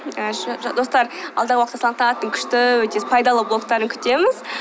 і достар алдағы уақытта салтанаттың күшті пайдалы блогтарын күтеміз